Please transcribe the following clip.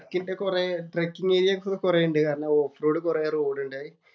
ട്രക്കിന്‍റെ കൊറേ trekking area ഒക്കെ കൊറേ ഒണ്ട്. കാരണം ഓഫ് റോഡ്‌ കൊറേ റോഡ്ണ്ടായി.